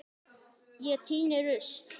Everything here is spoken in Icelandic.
Ég tíni rusl.